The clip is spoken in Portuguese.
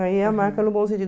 Aí é a marca no bom